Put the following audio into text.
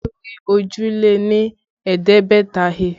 Olú rí òjì lé ní ẹ̀ẹ́dẹ́gbẹ̀ta he